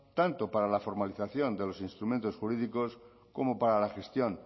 tanto para la formalización de los instrumentos jurídicos como para la gestión